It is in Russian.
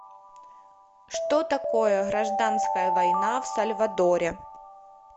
что такое гражданская война в сальвадоре